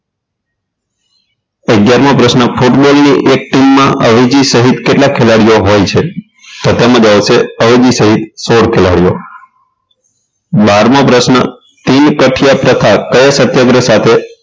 અગિયારમો પ્રશ્ન ફૂટબોલ ની એક team માં અવેજી સહીત કેટલા ખેલાડીઓ હોય છે તો તેમાં આવશે અવેજી સહિત સોળ ખેલાડીઓ બારમો પ્રશ્ન કયો સત્યાગ્રહ સાથે